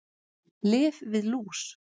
Lyf við lús